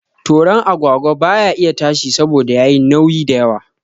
Toron agwagwa baya iya tashi saboda yayi nauyi da yawa